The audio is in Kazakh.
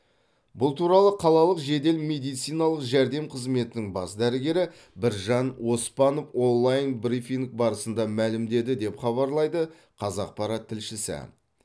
бұл туралы қалалық жедел медициналық жәрдем қызметінің бас дәрігері біржан оспанов онлайн брифинг барысында мәлімдеді деп хабарлайды қазақпарат тілшісі